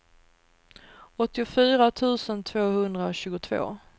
åttiofyra tusen tvåhundratjugotvå